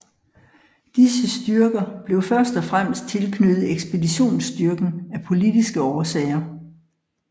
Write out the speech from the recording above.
Disse styrker blev først og fremmest tilknyttet ekspeditionsstyrken af politiske årsager